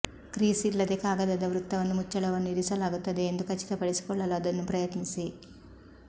crease ಇಲ್ಲದೆ ಕಾಗದದ ವೃತ್ತವನ್ನು ಮುಚ್ಚಳವನ್ನು ಇರಿಸಲಾಗುತ್ತದೆ ಎಂದು ಖಚಿತಪಡಿಸಿಕೊಳ್ಳಲು ಅದನ್ನು ಪ್ರಯತ್ನಿಸಿ